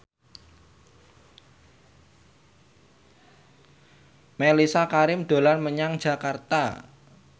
Mellisa Karim dolan menyang Jakarta